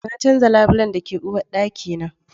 Na canza labulen da ke uwarɗaki na